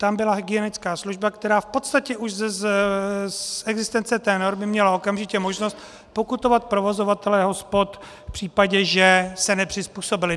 Tam byla hygienická služba, která v podstatě už z existence té normy měla okamžitě možnost pokutovat provozovatele hospod v případě, že se nepřizpůsobili.